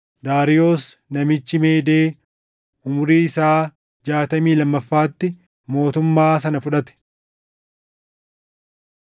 Daariyoos namichi Meedee umurii isaa jaatamii lammaffaatti mootummaa sana fudhate.